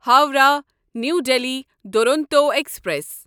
Howrah New Delhi Duronto express